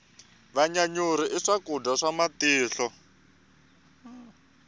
vanyanyuri i swakudya swa matihlo